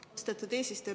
Austatud eesistuja!